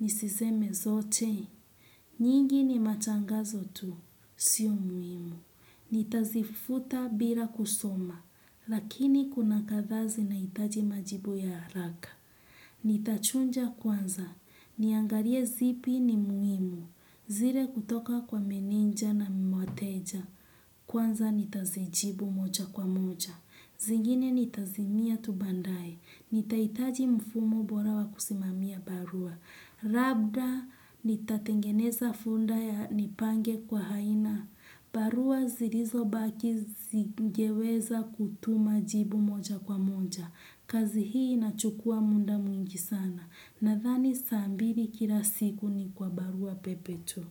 nisizeme zote. Nyingi ni matangazo tu. Sio muhimu. Nitazifuta bila kusoma. Lakini kuna katha zina hitaji majibu ya haraka. Nitachunja kwanza. Niangalie zipi ni muhimu. Zire kutoka kwa menenja na mwateja. Kwanza nitazijibu moja kwa moja. Zingine nitazimia tu baandaye, nitaitaji mfumo bora wa kusimamia barua. Rabda nitatengeneza funda ya nipange kwa haina. Barua zirizo baki zigeweza kutuma jibu moja kwa moja. Kazi hii inachukua munda mwingi sana. Nathani saa mbili kila siku ni kwa barua pepe tu.